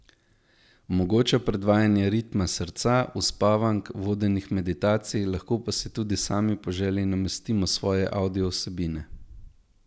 Omogoča predvajanje ritma srca, uspavank, vodenih meditacij, lahko pa si tudi sami po želji namestimo svoje avdiovsebine.